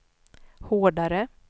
hårdare